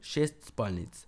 Šest spalnic.